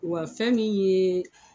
Wa fɛn min ye